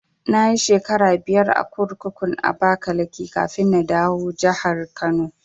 Nayi shekara biyar a kurkukun Abakaliki kafin na dawo jahar Kano